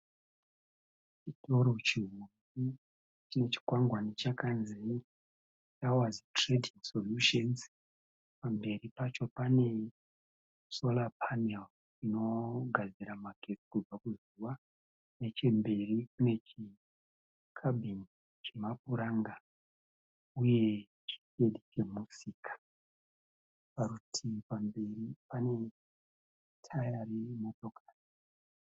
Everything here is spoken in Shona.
Chitoro chine chikwangwani chakanzi tawazi trading solutions, pamberi pacho pane solar paneri inogadzirwa magetsi kubva kuzuva mechemberi kune kabhini chemapuranga uye chishedhi chemusika parutivi pamberi pane taya remotokari.